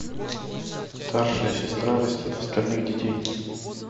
старшая сестра растит остальных детей